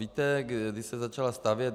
Víte, kdy se začala stavět?